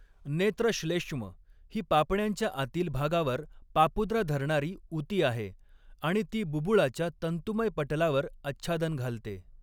नेत्रश्लेष्म ही पापण्यांच्या आतील भागावर पापुद्रा धरणारी ऊती आहे आणि ती बुबुळाच्या तंतुमय पटलावर आच्छादन घालते.